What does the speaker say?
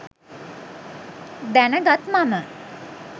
දැනගත් මම